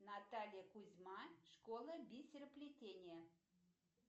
наталья кузьма школа бисероплетения